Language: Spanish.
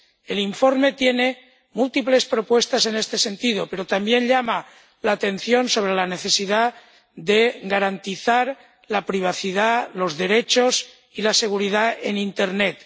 El informe tiene múltiples propuestas en este sentido, pero también llama la atención sobre la necesidad de garantizar la privacidad, los derechos y la seguridad en internet.